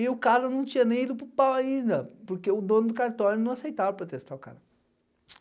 E o cara não tinha nem ido para o pau ainda, porque o dono do cartório não aceitava protestar o cara.